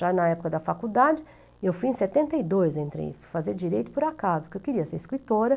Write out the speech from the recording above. Já na época da faculdade, eu fui em setenta e dois, entrei, fui fazer direito por acaso, porque eu queria ser escritora.